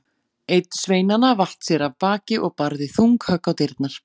Einn sveinanna vatt sér af baki og barði þung högg á dyrnar.